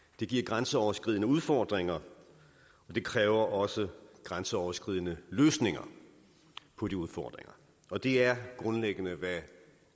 det giver grænseoverskridende udfordringer og det kræver også grænseoverskridende løsninger på de udfordringer og det er grundlæggende hvad